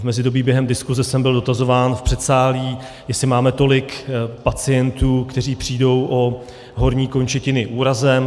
V mezidobí během diskuze jsem byl dotazován v předsálí, jestli máme tolik pacientů, kteří přijdou o horní končetiny úrazem.